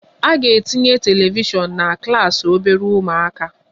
A ga-etinye telivishiọn na klas obere ụmụaka